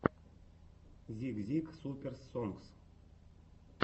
зик зик суперс сонгс